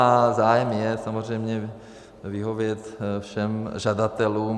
A zájem je samozřejmě vyhovět všem žadatelům.